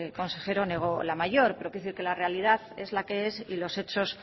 consejero negó la mayor pero quiero decir que la realidad es la que es y los hechos